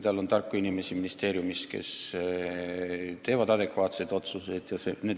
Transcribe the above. Tal on ikkagi ministeeriumis tarku inimesi, kes teevad adekvaatseid otsuseid.